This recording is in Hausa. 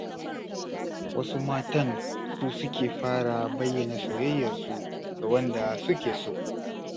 Wasu matan su suke fara bayyana soyayyarsu ga wanda suke so.